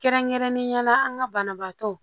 Kɛrɛnkɛrɛnnenya la an ka banabaatɔ